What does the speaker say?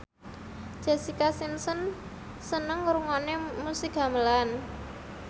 Jessica Simpson seneng ngrungokne musik gamelan